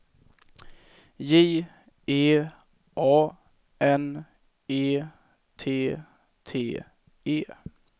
J E A N E T T E